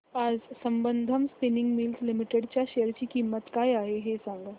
आज Sambandam spinning mills limited च्या share ची किंमत काय आहे हे सांगा